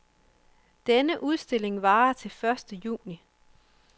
Denne udstilling varer til første juni.